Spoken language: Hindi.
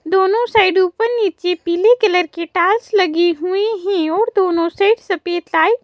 दोनों साइड ऊपर नीचे पीले कलर के टाल्स लगे हुए हैं और दोनों साइड सफेद टाई--